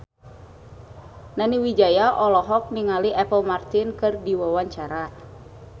Nani Wijaya olohok ningali Apple Martin keur diwawancara